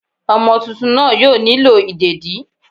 Omo túntún naa yóò nílo ìdédi